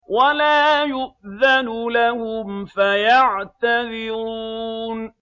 وَلَا يُؤْذَنُ لَهُمْ فَيَعْتَذِرُونَ